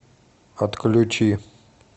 отключи